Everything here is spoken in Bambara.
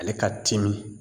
Ale ka timi